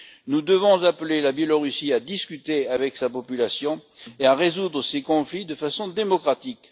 Nous devons appeler la Biélorussie à discuter avec sa population et à résoudre ces conflits de façon démocratique.